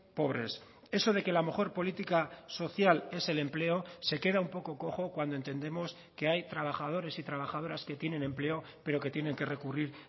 pobres eso de que la mejor política social es el empleo se queda un poco cojo cuando entendemos que hay trabajadores y trabajadoras que tienen empleo pero que tienen que recurrir